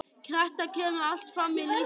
Þetta kemur allt fram í lýsingu orðsins áhugi: